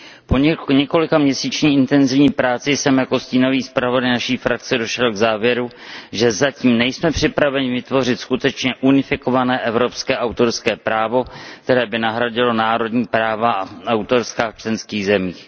Po několikaměsíční intenzivní práci jsem jako stínový zpravodaj naší frakce došel k závěru, že zatím nejsme připraveni vytvořit skutečně unifikované evropské autorské právo, které by nahradilo národní autorská práva v členských zemích.